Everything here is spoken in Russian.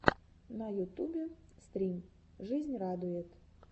на ютубе стрим жизнь радует